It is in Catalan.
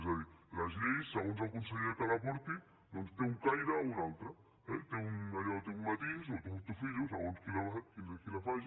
és a dir les lleis segons el conseller que les porti doncs tenen un caire o un altre eh té un matís o té un tufillo segons qui la faci